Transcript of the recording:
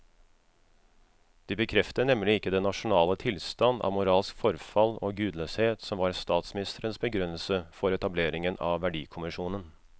De bekrefter nemlig ikke den nasjonale tilstand av moralsk forfall og gudløshet som var statsministerens begrunnelse for etableringen av verdikommisjonen.